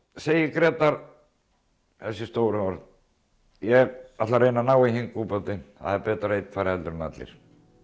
segir Grétar þessi stóru orð ég ætla að reyna að ná í hinn það er betra að einn fari en allir